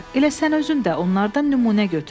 Elə sən özün də onlardan nümunə götür.